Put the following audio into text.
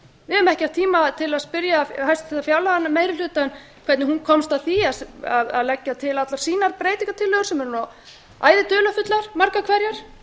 við höfum ekki haft tíma til að spyrja hæstvirta fárlaganefnd meiri hlutann hvernig hún komst að því að leggja til allar sínar breytingartillögur sem eru æði dularfullar margar hverjar við verðum að